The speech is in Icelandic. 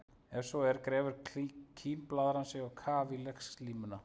Ef svo er grefur kímblaðran sig á kaf í legslímuna.